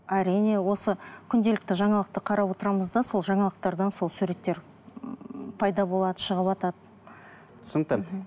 әрине осы күнделікті жаңалықты қарап отырамыз да сол жаңалықтардан сол суреттер ыыы пайда болады шығыватады түсінікті